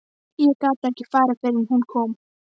Ég gat ekki farið fyrr en hún kom.